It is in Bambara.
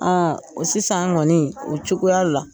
sisan kɔni o cogoya la.